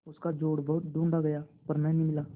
उसका जोड़ बहुत ढूँढ़ा गया पर न मिला